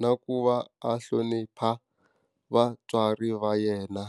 na ku va a hlonipha vatswari va yena.